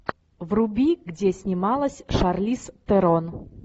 вруби где снималась шарлиз терон